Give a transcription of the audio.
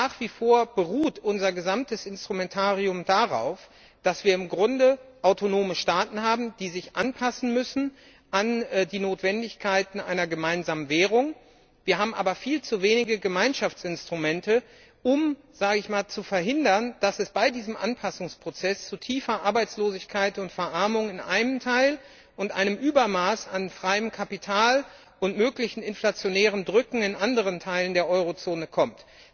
Nach wie vor beruht unser gesamtes Instrumentarium darauf, dass wir im Grunde autonome Staaten haben, die sich an die Notwendigkeiten einer gemeinsamen Währung anpassen müssen. Wir haben aber viel zu wenige Gemeinschaftsinstrumente, um zu verhindern, dass es bei diesem Anpassungsprozess zu tiefer Arbeitslosigkeit und Verarmung in einem Teil und einem Übermaß an freiem Kapital und möglichen inflationären Drücken in anderen Teilen der Eurozone kommt.